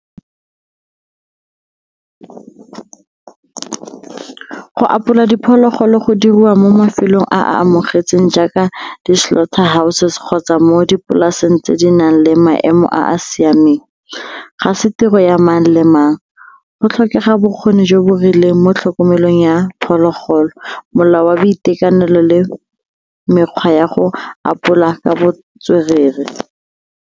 Go apola diphologolo go diriwa mo mafelong a a amogetsweng jaaka di-slaughter houses kgotsa mo dipolaseng tse di nang le maemo a a siameng. Ga se tiro ya mang le mang, go tlhokega bokgoni jo bo rileng mo tlhokomelong ya phologolo, molao wa boitekanelo le mekgwa ya go apola ka botswerere.